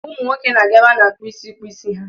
Ụmụ nwoke na-aga ebe a na-akpụ isi ịkpụ isi ha.